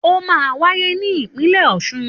Òmá wàyé ni ìpínlẹ ọsún